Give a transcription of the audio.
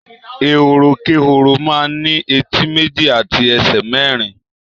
Èhórókéhoro man ni éti meji ati èsè merin